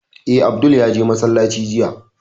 Eh, Abdul ya je masallaci jiya